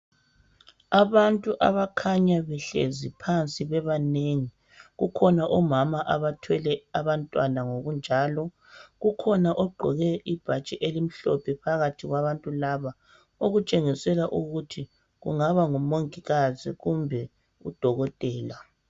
Abantu abakhanya behlezi phansi bebanengi, kukhona omama abathwele abantwana ngokunjalo. Kokhona ogqoke ibhatshi elimhlophe phakathi kwabantu laba okutshengisela ukuthi kungaba ngumongikazi kumbe udokotela.